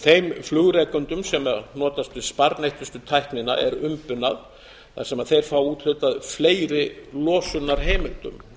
þeim flugrekendum sem notast við sparneytnustu tæknina er umbunað þar sem þeir fá úthlutað fleiri losunarheimildum